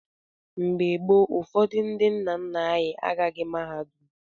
Mgbe gboo, ụfọdụ ndị nna nna anyị agaghị mahadum.